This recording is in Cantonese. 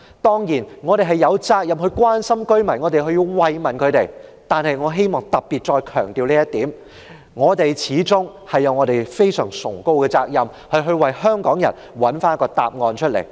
當然，我們有責任關心居民，有責任慰問他們，但是，我希望再強調，我們有另一個非常崇高的責任，就是為香港人找出答案。